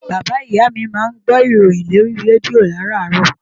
Bàbáa ìyá mi máa ń gbó ìròyìn lórí rédíò làràárọ̀